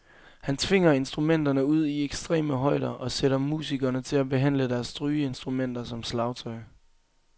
Han tvinger instrumenterne ud i ekstreme højder og sætter musikerne til at behandle deres strygeinstrumenter som slagtøj.